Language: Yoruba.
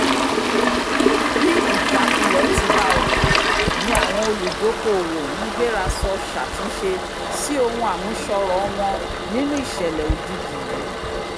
bí ìjákulẹ̀ ti bá ọjà ni àwọn olùdókoòwò ń gbérasọ ṣàtúnṣe sí ohun àmúṣọrọ̀ wọn nínu ìṣẹ̀lẹ̀ òjijì yìí